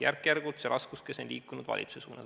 Järk-järgult on see raskuskese liikunud valitsuse suunas.